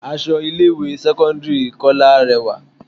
Aṣọ ilé ìwé sẹ́kọ́ńdírì Kọ́lá rẹwà.